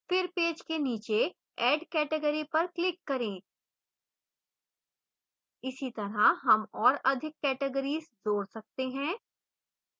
फिर पेज के नीचे add category पर click करें